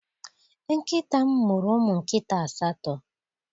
Nkịta m mụrụ ụmụ nkịta asatọ.